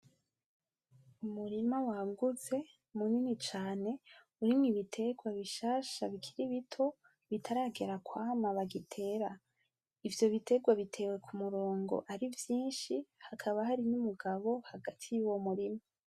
Umurima wagutse munini cane Urumwo ibiterwa bishasha bikiri bito bitaragera kwama bagitera ,ivyo biterwa Biteye k’umurongo ari vyishi hakaba harimwo umugabo muri uwo murima